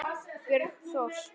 Björn Thors.